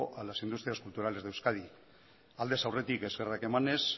a las industrias culturales de euskadi aldez aurretik eskerrak emanez